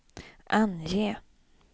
ange